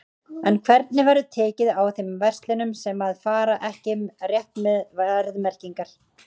En hvernig verður tekið á þeim verslunum sem að fara ekki rétt með verðmerkingar?